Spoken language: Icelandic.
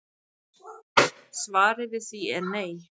Svarið við því er nei